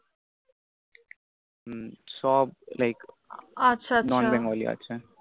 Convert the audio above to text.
হু সব Like Non Bengali আছা আছা আছে